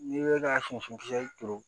N'i bɛ ka siyɛn kelen kisɛ turu